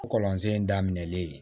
Kɔlɔnsen daminɛlen ye